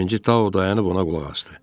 Birinci Tao dayanıb ona qulaq asdı.